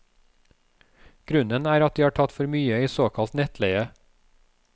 Grunnen er at de har tatt for mye i såkalt nettleie.